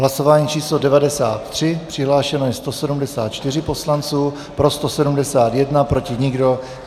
Hlasování číslo 93, přihlášeno je 174 poslanců, pro 171, proti nikdo.